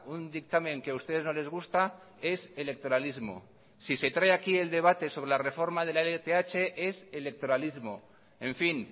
un dictamen que a ustedes no les gusta es electoralismo si se trae aquí el debate sobre la reforma de la lth es electoralismo en fin